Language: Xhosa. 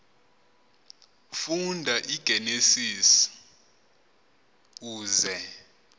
funda igenesis uze